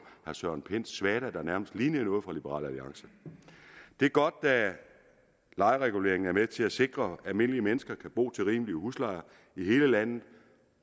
søren pinds svada der nærmest lignede noget fra liberal alliance det er godt at lejereguleringen er med til at sikre at almindelige mennesker kan bo til rimelige huslejer i hele landet